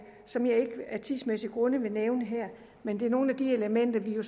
som jeg af tidsmæssige grunde ikke vil nævne her men det er nogle af de elementer vi jo